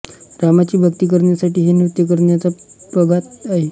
रामाची भक्ती करण्यासाठी हे नृत्य करण्याचा प्रघात आहे